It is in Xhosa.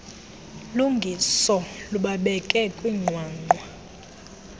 lungiso lubabeke kwinqwanqwa